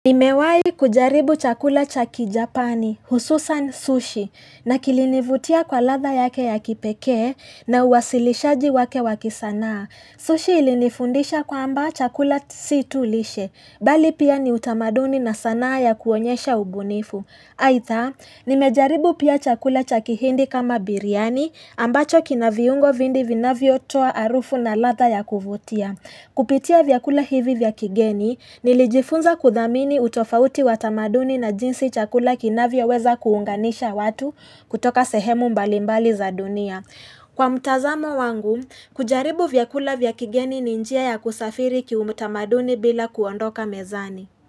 Nimewahi kujaribu chakula cha kijapani, hususan sushi, na kilinivutia kwa ladha yake ya kipekee na uwasilishaji wake wakisanaa. Sushi ilinifundisha kwamba chakula si tu lishe, bali pia ni utamaduni na sanaa ya kuonyesha ubunifu. Aidha, nimejaribu pia chakula cha kihindi kama biriani ambacho kina viungo vindi vinavyo toa harufu na ladha ya kuvutia. Kupitia vyakula hivi vya kigeni nilijifunza kudhamini utofauti wa tamaduni na jinsi chakula kinavyo weza kuunganisha watu kutoka sehemu mbalimbali za dunia. Kwa mtazamo wangu, kujaribu vyakula vya kigeni ni njia ya kusafiri ki utamaduni bila kuondoka mezani.